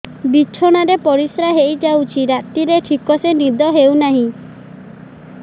ବିଛଣା ରେ ପରିଶ୍ରା ହେଇ ଯାଉଛି ରାତିରେ ଠିକ ସେ ନିଦ ହେଉନାହିଁ